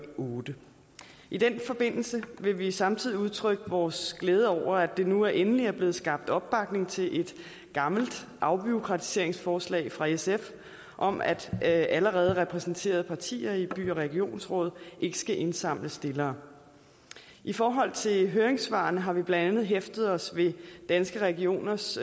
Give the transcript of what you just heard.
otte i den forbindelse vil vi samtidig udtrykke vores glæde over at der nu endelig er blevet skabt opbakning til et gammelt afbureaukratiseringsforslag fra sf om at at allerede repræsenterede partier i by og regionsråd ikke skal indsamle stillere i forhold til høringssvarene har vi blandt andet hæftet os ved danske regioners